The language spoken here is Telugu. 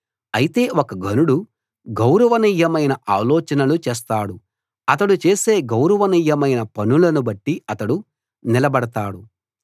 అయితే ఒక ఘనుడు గౌరవనీయమైన ఆలోచనలు చేస్తాడు అతడు చేసే గౌరవనీయమైన పనులను బట్టి అతడు నిలబడతాడు